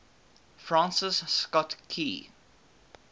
francis scott key